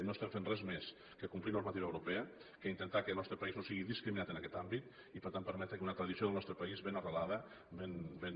no estem fent res més que complir normativa europea que intentar que el nostre país no sigui discriminat en aquest àmbit i per tant permetre que una tradició del nostre país ben arrelada ben